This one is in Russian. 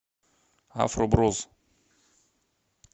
афро брос